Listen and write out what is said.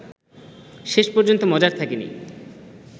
শেষ পর্যন্ত মজার থাকেনি